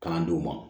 Kalan d'u ma